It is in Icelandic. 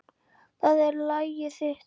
Það er lagið þitt.